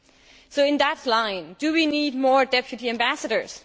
Along these lines, do we need more deputy ambassadors?